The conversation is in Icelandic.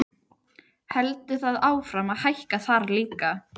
Heldur það áfram að hækka þar líka?